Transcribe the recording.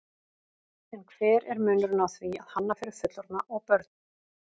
En hver er munurinn á því að hanna fyrir fullorðna og börn?